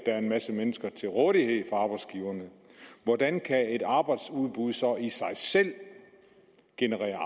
er en masse mennesker til rådighed for arbejdsgiverne hvordan kan et arbejdsudbud så i sig selv generere